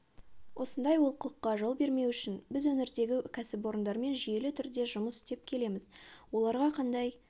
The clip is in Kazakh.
осындай олқылыққа жол бермеу үшін біз өңірдегі кәсіпорындармен жүйелі түрде жұмыс істеп келеміз оларға қандай